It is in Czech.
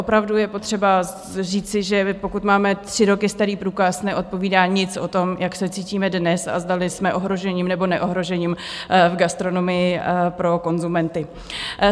Opravdu je potřeba říci, že pokud máme tři roky starý průkaz, nevypovídá nic o tom, jak se cítíme dnes a zdali jsme ohrožením nebo neohrožením v gastronomii pro konzumenty.